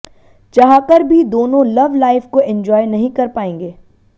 चाहकर भी दोनों लव लाइफ को एंजॉय नहीं कर पाएंगे